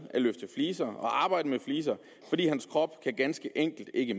at løfte fliser og arbejde med fliser fordi hans krop ganske enkelt ikke